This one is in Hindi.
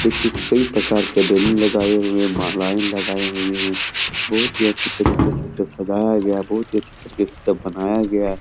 देखिए कई प्रकार के बैलून लगाए हुए है। मालाएं लगाई हुई है। बहुत अच्छे तरीके से स सजाया गया है। बहुत अच्छी तरीके से सब बनाया गया--